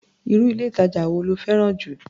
Irú ilé-ìtàjà wo lo fẹ́ràn jù?